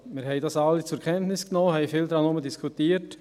Wir alle haben diese zur Kenntnis genommen und viel darüber diskutiert;